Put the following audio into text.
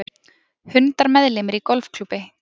Hundar meðlimir í golfklúbbi